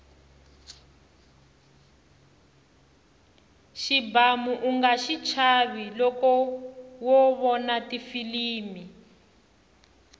xibamu unga xichava loko wo vona tifilimi